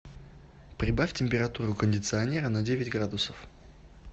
прибавь температуру кондиционера на девять градусов